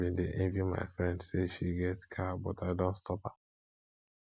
i bin dey envy my friend say she get car but i don stop am